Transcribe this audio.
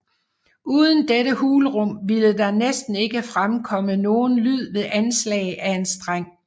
Uden dette hulrum ville der næsten ikke fremkomme nogen lyd ved anslag af en streng